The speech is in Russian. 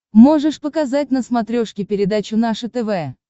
можешь показать на смотрешке передачу наше тв